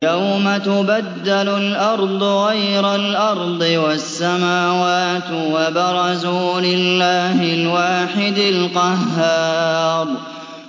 يَوْمَ تُبَدَّلُ الْأَرْضُ غَيْرَ الْأَرْضِ وَالسَّمَاوَاتُ ۖ وَبَرَزُوا لِلَّهِ الْوَاحِدِ الْقَهَّارِ